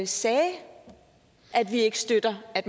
sagde at vi ikke støtter at